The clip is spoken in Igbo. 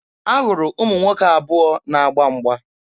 Ahụrụ ụmụ nwoke abụọ na-agba mgba.